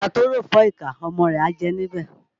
Àgbà tó ròfọ́ ìkà, ọmọ rẹ̀ á jẹ níbẹ̀